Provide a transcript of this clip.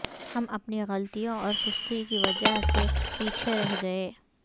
ہم اپنی غلطیوں اور سستی کی وجہ سے پیچھے رہ گئے